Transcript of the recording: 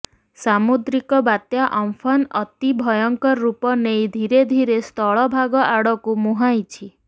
ସାମୁଦ୍ରିକ ବାତ୍ୟା ଅମ୍ଫନ୍ ଅତି ଭୟଙ୍କର ରୂପ ନେଇ ଧୀରେ ଧୀରେ ସ୍ଥଳଭାଗ ଆଡକୁ ମୁହଁାଇଛି